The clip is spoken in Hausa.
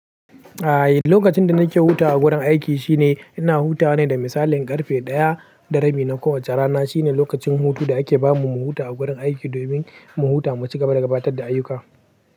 Ai lokacin da nake hutawa a gurin aiki shine ina hutawa ne da misalin karfe ɗaya da rabi na kowacce rana. Shine lokacin hutu da ake bamu mu huta a gurin aiki domin mu huta mu cigaba da gabatar da ayyuka.